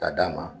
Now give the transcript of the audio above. K'a d'a ma